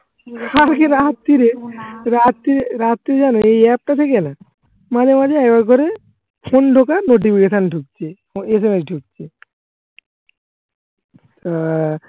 কালকে রাত্তিরে রাতি রাত্রি জানো এই অ্যাপটা থেকে না মাঝে মাঝে করে সুন্দর করে notification ঢুকছে SMS ঢুকছে আহ